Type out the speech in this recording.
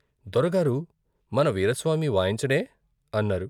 దొరగారు మన వీరాస్వామి వాయించడే అన్నారు?